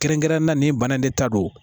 Kɛrɛnkɛrɛnnenya na ni bana in de ta don